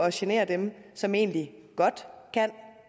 at genere dem som egentlig godt kan